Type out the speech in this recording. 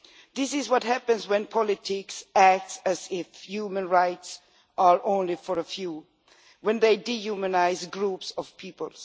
This is what happens when politicians act as if human rights were only for a few when they dehumanise whole groups of people.